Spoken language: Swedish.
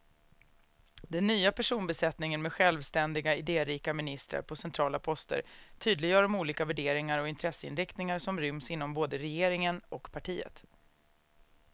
Den nya personbesättningen med självständiga, idérika ministrar på centrala poster tydliggör de olika värderingar och intresseinriktningar som ryms inom både regeringen och partiet.